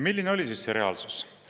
Milline oli siis see reaalsus?